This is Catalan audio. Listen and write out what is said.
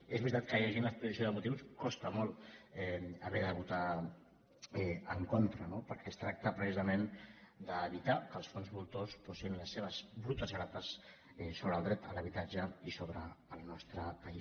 és veritat que llegint l’exposició de motius costa molt haver de votar en contra no perquè es tracta precisament d’evitar que els fons voltors posin les seves brutes grapes sobre el dret a l’habitatge i sobre el nostre país